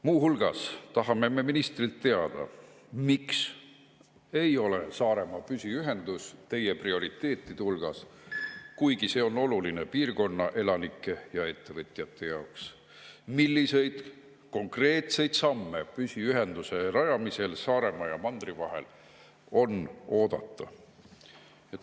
Muu hulgas tahame ministrilt teada, miks ei ole Saaremaa püsiühendus tema prioriteetide hulgas, kuigi see on oluline piirkonna elanike ja ettevõtjate jaoks, ning milliseid konkreetseid samme püsiühenduse rajamisel Saaremaa ja mandri vahel on oodata.